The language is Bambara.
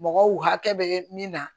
Mɔgɔw hakɛ bɛ min na